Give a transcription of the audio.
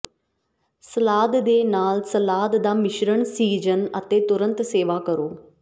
salad ਦੇ ਨਾਲ salad ਦਾ ਮਿਸ਼ਰਣ ਸੀਜ਼ਨ ਅਤੇ ਤੁਰੰਤ ਸੇਵਾ ਕਰੋ